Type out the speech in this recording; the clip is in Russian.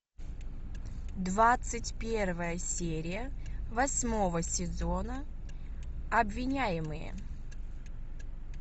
двадцать первая серия восьмого сезона обвиняемые